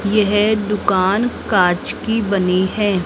यह दुकान कांच की बनी है।